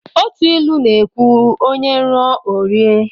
Otu ilu na ekwu"onye ruo o rie"